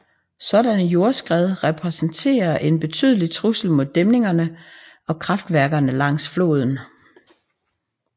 Sådanne jordskred repræsenterer en betydelig trussel mod dæmningerne og vandkraftværkerne langs floden